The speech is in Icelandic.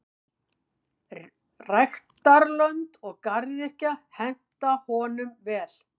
Ræktarlönd og garðyrkja henta honum vel.